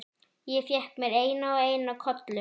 Ég fékk mér eina og eina kollu.